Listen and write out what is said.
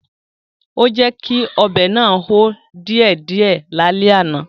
Ó jẹ́kí ọbẹ̀ náà hó díẹ̀ díẹ̀ lálẹ́ àná